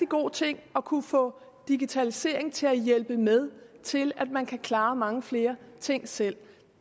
god ting at kunne få digitaliseringen til at hjælpe med til at man kan klare mange flere ting selv